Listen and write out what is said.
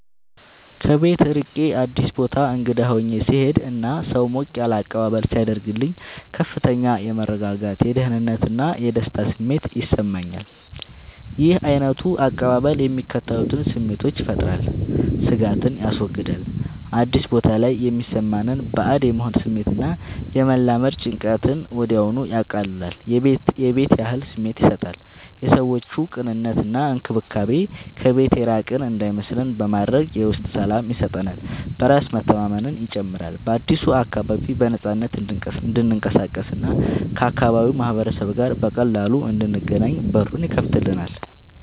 ከቤት ርቄ አዲስ ቦታ እንግዳ ሆኜ ስሄድ እና ሰው ሞቅ ያለ አቀባበል ሲያደርግልኝ ከፍተኛ የመረጋጋት፣ የደህንነት እና የደስታ ስሜት ይሰማኛል። ይህ ዓይነቱ አቀባበል የሚከተሉትን ስሜቶች ይፈጥራል፦ ስጋትን ያስወግዳል፦ አዲስ ቦታ ላይ የሚሰማንን ባዕድ የመሆን ስሜት እና የመላመድ ጭንቀትን ወዲያውኑ ያቀልላል። የቤት ያህል ስሜት ይሰጣል፦ የሰዎቹ ቅንነት እና እንክብካቤ ከቤት የራቅን እንዳይመስለን በማድረግ የውስጥ ሰላም ይሰጠናል። በራስ መተማመንን ይጨምራል፦ በአዲሱ አካባቢ በነፃነት እንድንቀሳቀስ እና ከአካባቢው ማህበረሰብ ጋር በቀላሉ እንድንገናኝ በሩን ይከፍትልናል።